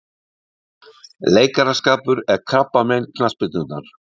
Leikaraskapur er krabbamein knattspyrnunnar